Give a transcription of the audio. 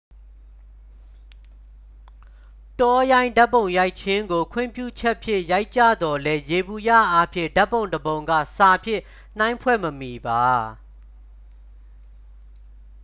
တောရိုင်းဓာတ်ပုံရိုက်ခြင်းကို ခွင့်ပြုချက်ဖြင့် ရိုက်ကြသော်လည်း ယေဘုယျ အားဖြင့် ဓာတ်ပုံတစ်ပုံက စာဖြင့် နှိုင်းဖွဲ့မမှီပါ